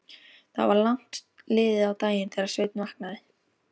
Það var langt liðið á daginn þegar Sveinn vaknaði.